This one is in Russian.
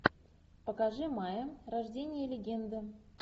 покажи майя рождение легенды